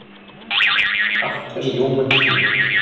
Allt er ljómandi fínt.